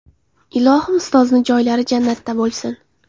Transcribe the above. Ilohim ustozni joylari jannatda bo‘lsin!